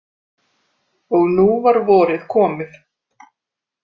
Og nú var vorið komið.